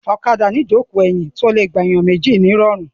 Ọ̀kadà ní ìjókòó ẹ̀yìn tí ó le gba ènìyàn méjì ní ìrọ̀rùn.